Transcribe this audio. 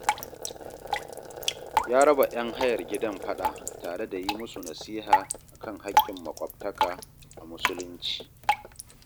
Ya raba 'yan hayar gidan faɗa tare da yi musu nasiha a kan haƙƙin maƙwabtaka a musulunci